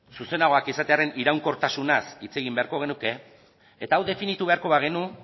zuzenagoak izatearren iraunkortasunaz hitz egin beharko genuke eta hau definitu beharko bagenu